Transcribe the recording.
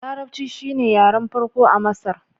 Larabci shine yaren farko a Masar.